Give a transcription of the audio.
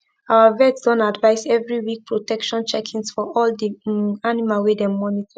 our vet don advise every week protection checkings for all de um animal wey dem monitor